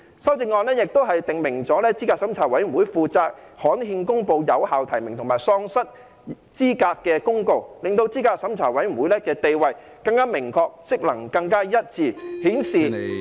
修正案亦訂明資審會負責刊憲公布有效提名及喪失資格的公告，令資審會的地位更明確，職能更一致，顯示......